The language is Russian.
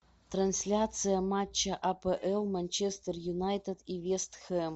трансляция матча апл манчестер юнайтед и вест хэм